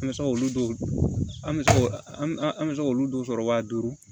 An bɛ se k'olu dɔw an bɛ se k'o an bɛ se k'olu dɔw sɔrɔ waa duuru